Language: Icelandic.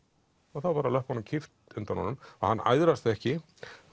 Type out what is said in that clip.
og þá er bara löppunum kippt undan honum og hann æðrast ekki